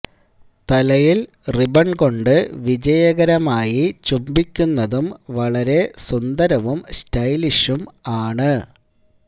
തലയിൽ റിബൺ കൊണ്ട് വിജയകരമായി ചുംബിക്കുന്നതും വളരെ സുന്ദരവും സ്റ്റൈലിഷും ആണ്